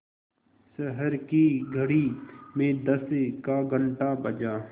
शहर की घड़ी में दस का घण्टा बजा